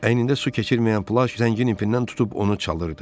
Əynində su keçirməyən plaş zəngin ipindən tutub onu çalırdı.